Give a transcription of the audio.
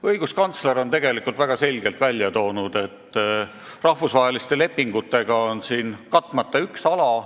Õiguskantsler on väga selgelt välja toonud, et rahvusvaheliste lepingutega on siin katmata üks ala.